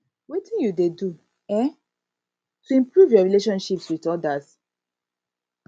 wetin you dey do um to improve your relationships with odas